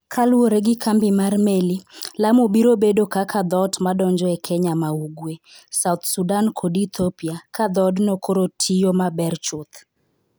Kaluwore gi kambi mar meli, Lamu biro bedo kaka dhoot madonjo e Kenya ma Ugwe, South Sudan kod Ethiopia ka dhoodno koro tiyo maber chuth.